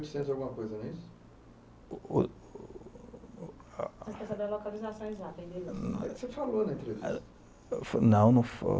oitocentos e alguma não é isso? Ele quer saber a localização exatada. Você falou na entrevista. Não